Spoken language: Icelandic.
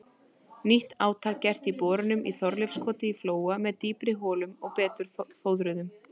Nýtt átak gert í borunum í Þorleifskoti í Flóa með dýpri holum og betur fóðruðum.